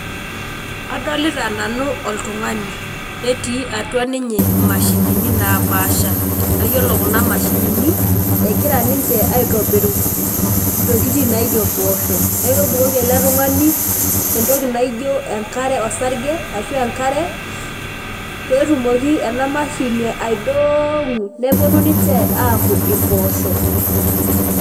Adolita nanu oltung'ani netii atua ninye mashinini napasha nayiolo kuna mashinini egira ninche aitobiru ntokitin naijo mposho nakebukoki eletung'ani entoki naijo enkare, osarge ashu enkare petumoki enamshini aidong'o neponu ninche aaku imposho.